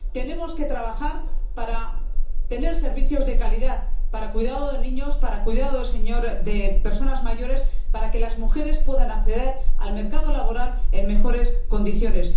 Tenemos que trabajar para tener servicios de calidad para el cuidado de niños y de personas mayores, y para que las mujeres puedan acceder al mercado laboral en mejores condiciones.